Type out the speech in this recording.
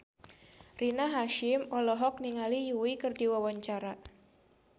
Rina Hasyim olohok ningali Yui keur diwawancara